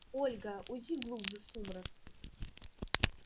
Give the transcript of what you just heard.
ольга уйди глубже в сумрак